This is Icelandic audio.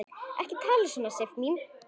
Ekki tala svona, Sif mín!